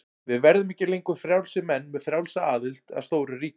Við verðum ekki lengur frjálsir menn með frjálsa aðild að stóru ríki.